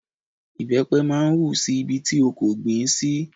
ìbẹ́pẹ máa ń hù si Ibi tí a kò gbìn ín sí